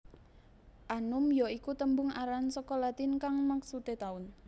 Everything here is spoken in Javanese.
Annum ya iku tembung aran saka Latin kang maksudé taun